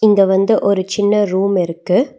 இங்க வந்து ஒரு சின்ன ரூம் இருக்கு.